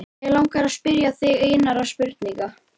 Mig langar til að spyrja þig einnar spurningar.